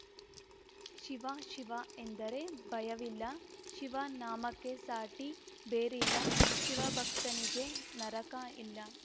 ಶಿವ ಶಿವ ಎಂದರೆ ಭಯವಿಲ್ಲ ಶಿವ ನಾಮಕ್ಕೆ ಸಾಟಿ ಬೇರಿಲ್ಲ ಶಿವ ಭಕ್ತನಿಗೆ ನರಕಾ ಇಲ್ಲ